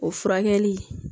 O furakɛli